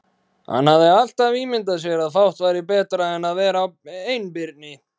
Hann hafði alltaf ímyndað sér að fátt væri betra en að vera einbirni.